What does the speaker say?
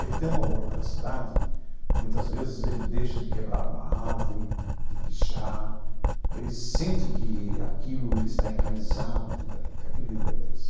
Ele tendo amor pela cidade, muitas vezes ele deixa de quebrar uma árvore, de pichar, ele sente que aquilo ele está enraizado dentro daquilo, que aquilo lhe pertence.